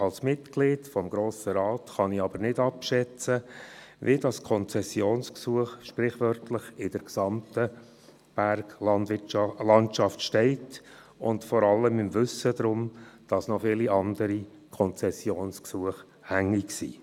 Als Mitglied des Grossen Rates kann ich aber nicht abschätzen, wie dieses Konzessionsgesuch sprichwörtlich in der gesamten Berglandschaft steht, vor allem im Wissen darum, dass noch viele andere Konzessionsgesuche hängig sind.